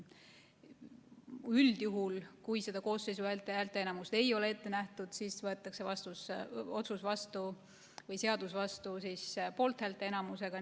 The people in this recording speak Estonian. Üldjuhul, kui koosseisu häälteenamust ei ole ette nähtud, siis võetakse seadus vastu poolthäälte enamusega.